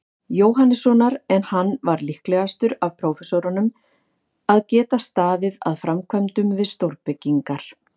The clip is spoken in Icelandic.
Jóhannessonar, en hann var líklegastur af prófessorunum að geta staðið að framkvæmdum við stórbyggingar.